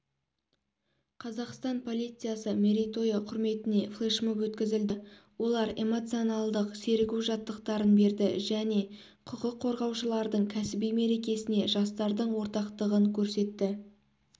қазақстан полициясы мерейтойы құрметіне флешмоб өткізілді олар эмоционалдық серігу жаттықтарын берді және құқық қорғаушылардың кәсіби мерекесіне жастардың ортақтығын көрсетті